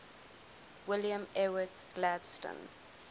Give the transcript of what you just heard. william ewart gladstone